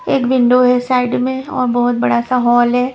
एक विंडो है साइड में और बहुत बड़ा सा हॉल है।